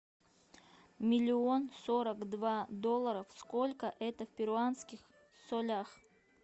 миллион сорок два доллара сколько это в перуанских солях